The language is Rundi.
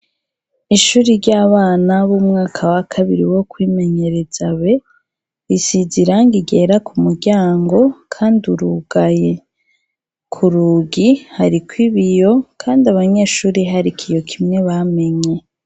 Ishure ryabana bo mu mwaka wakabiri wokwimenyereza risize Irangi ryera ku muryango Kandi urugaye kurugi hariko ibiyo Kandi hari ikiyo kimwe bamenye.